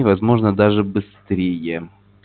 возможно даже быстрее